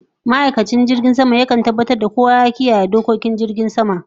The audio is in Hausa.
Ma'aikacin jirgin sama ya kan tabatar da kowa ya kiyaye dokokin jirgin sama